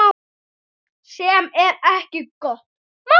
Sem er ekki gott mál.